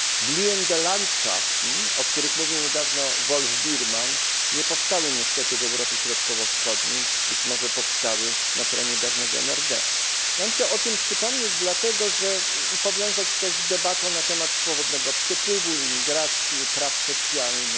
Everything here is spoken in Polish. Blühende Landschaften o których mówił niedawno Wolf Biermann, nie powstały niestety w Europie Środkowo Wschodniej, być może powstały na terenie dawnego NRD. Ja chciałbym o tym przypomnieć i powiązać to z debatą na temat swobodnego przepływu osób, migracji, praw socjalnych.